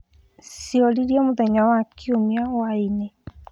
Ciorire mũthenya wa kiũmia hwai-inĩ